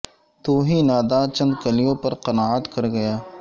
تو ہی ناداں چند کلیوں پر قناعت کر گیا